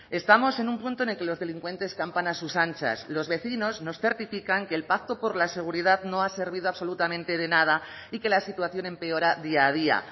estamos en un punto en que los delincuentes campan a sus anchas los vecinos nos certifican que el pacto por la seguridad no ha servido absolutamente de nada y que la situación empeora día a día